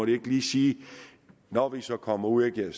ikke lige sige at når vi så kommer ud og jeg